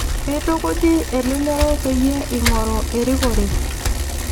Keitukuji elelero peyie ing'oru erikore